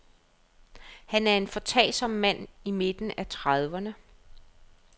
Han er en foretagsom mand i midten af trediverne.